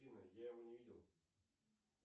афина я его не видел